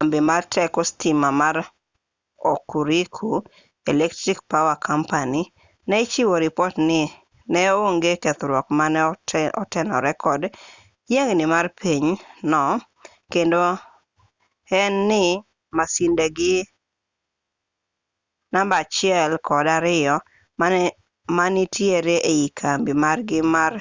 kambi mar teko sitima ma hokuriku electric power co ne ichiwo ripot ni ne onge kethruok mane otenore kod yiengni mar piny no kendo en ni masindegi namba 1 kod 2 manitiere ei kambi margi mar